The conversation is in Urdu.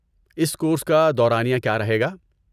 اس کورس کا دورانیہ کیا رہے گا؟